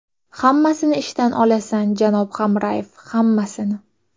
Hammasini ishdan olasan, janob Hamrayev, hammasini.